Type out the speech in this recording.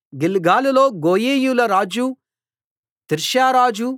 గిల్గాలులో గోయీయుల రాజు తిర్సా రాజు